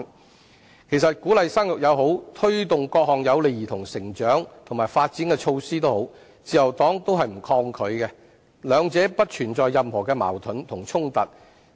其實，無論是鼓勵生育還是推動各項有利兒童成長和發展的措施，自由黨均不抗拒，兩者不存在任何矛盾和衝突。